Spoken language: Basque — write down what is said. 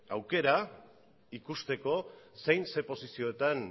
aukera ikusteko zein posizioetan